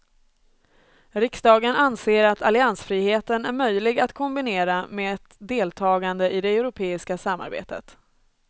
Riksdagen anser att alliansfriheten är möjlig att kombinera med ett deltagande i det europeiska samarbetet.